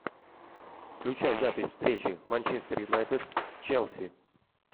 включай запись встречи манчестер юнайтед с челси